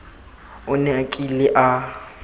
o ne a kile a